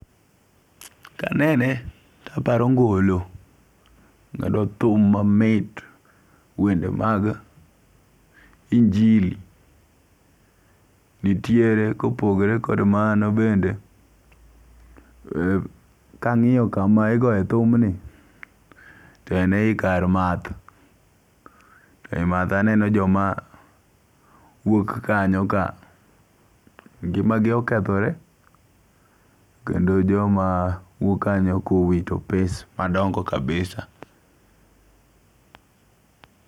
Kanene to aparo ngo'lo, mago thum mamit, wende mag injili nitiere kopogore kod mano bende, kangi'yo kama igoye thumni to en e yi kar math, e matho aneno joma wuok kanyo ka ngi'magi okethore kendo joma wuok kanyo kowito pes madongo' kabisa